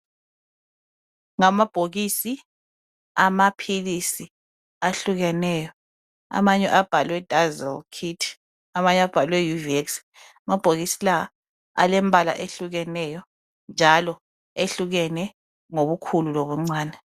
Ngamabhokisi amaphilisi ahlukeneyo amanye abhalwe dazel kit amanye abhalwe uvex amabhokisi la alompala owehlukeneyo njalo ehlukene ngobukhulu lobuncane